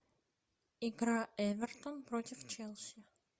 игра эвертон против челси